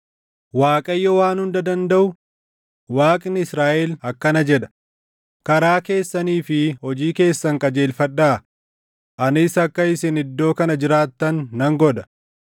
Waaqayyo Waan Hunda Dandaʼu, Waaqni Israaʼel akkana jedha: karaa keessanii fi hojii keessan qajeelfadhaa; anis akka isin iddoo kana jiraattan nan godha.